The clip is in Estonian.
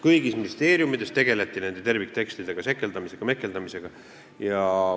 Tähendab, kõigis ministeeriumides tegeleti nende terviktekstidega sekeldamise ja mehkeldamisega.